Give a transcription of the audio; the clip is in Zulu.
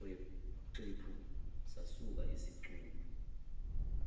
xephu sasuka isicubu